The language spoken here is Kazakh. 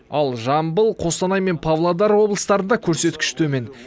ал жамбыл қостанай мен павлодар облыстарында көрсеткіш төмен